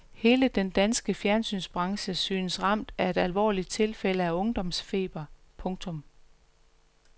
Hele den danske fjernsynsbranche synes ramt af et alvorligt tilfælde af ungdomsfeber. punktum